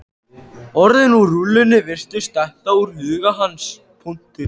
Orðin úr rullunni virtust detta úr huga hans.